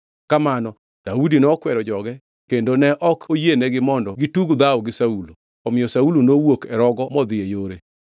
Kamano Daudi nokwero joge kendo ne ok oyienegi mondo gitug dhawo gi Saulo. Omiyo Saulo nowuok e rogo modhi e yore.